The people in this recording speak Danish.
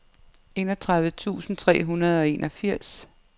enogtredive tusind tre hundrede og enogfirs